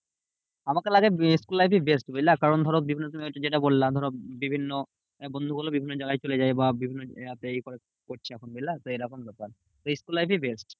আমাকে লাগে school life ই best বুঝলে? কারণ ধরো বিভন্ন যেটা বললাম ধরো বিভিন্ন বন্ধুগুলো বিভিন্ন জায়গায় চলে যায়। বা বিভিন্ন জায়গাতে এ করে করছে এখন বুঝলা? তো এরকম ব্যাপার school life ই best.